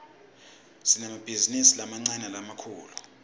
sinemabhizinisi lamancane nalamkifulu